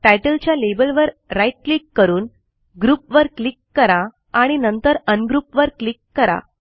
Titleच्या labelवर right click करून group वर क्लिक करा आणि नंतर Ungroupवर क्लिक करा